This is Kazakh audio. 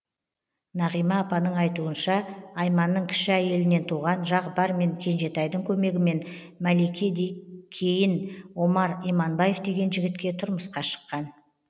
нағима апаның айтуынша айманның кіші әйелінен туған жағыпар мен кенжетайдың көмегімен мәлике кейін омар иманбаев деген жігітке тұрмысқа шыққан